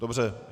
Dobře.